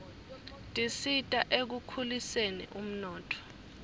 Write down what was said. tisita ekukhuliseni umnotfo